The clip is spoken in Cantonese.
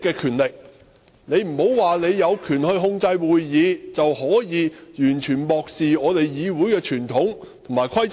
你不能說你有權控制會議，便可以完全漠視議會的傳統和規則。